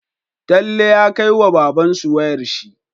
Talle ya kai wa babbansu wayar shi